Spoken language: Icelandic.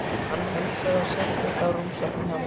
Hann heilsaði og settist á rúmstokkinn hjá mér.